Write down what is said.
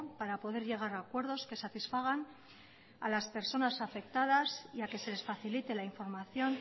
para poder llegar a acuerdos que satisfagan a las personas afectadas y a que se les facilite la información